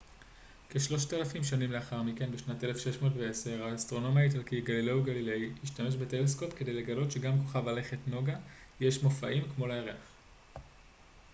כשלושת אלפים שנים לאחר מכן בשנת 1610 האסטרונום האיטלקי גלילאו גליליי השתמש בטלסקופ כדי לגלות שגם לכוכב הלכת נוגה יש מופעים כמו לירח